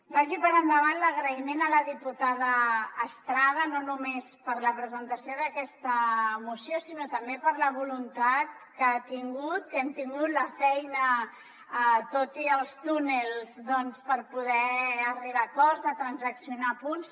vagi per endavant l’agraïment a la diputada estrada no només per la presentació d’aquesta moció sinó també per la voluntat que ha tingut que hem tingut la feina tot i els túnels doncs per poder arribar a acords a transaccionar punts